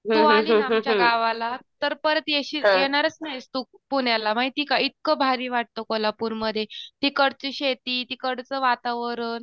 तू आली ना आमच्या गावाला तर परत येशील येणारच नाहीस तू पुण्याला माहिती का? इतकं भारी वाटतं कोल्हापूरमध्ये तिकडची शेती, तिकडचं वातावरण